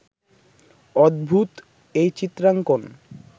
অদ্ভূত এই চিত্রাঙ্কণ